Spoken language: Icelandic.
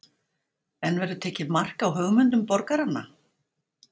En verður tekið mark á hugmyndum borgaranna?